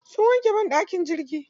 Sun wanke banɗakin jirgin.